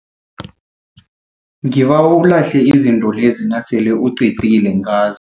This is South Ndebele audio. Ngibawa ulahle izinto lezi nasele uqedile ngazo.